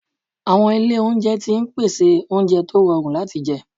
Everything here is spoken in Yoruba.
Àwọn ilé oúnjẹ tó ń pèsè oúnjẹ tó rọrùn láti jẹ